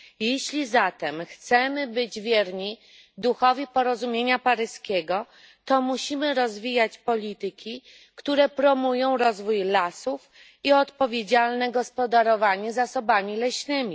Jeśli zatem chcemy być wierni duchowi porozumienia paryskiego, to musimy rozwijać polityki, które promują rozwój lasów i odpowiedzialne gospodarowanie zasobami leśnymi.